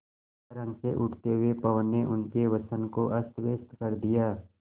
तरंग से उठते हुए पवन ने उनके वसन को अस्तव्यस्त कर दिया